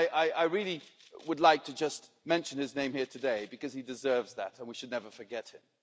I really would like just to mention his name here today because he deserves that and we should never forget him.